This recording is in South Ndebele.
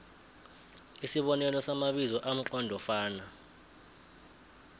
isibonelo samabizo amqondofana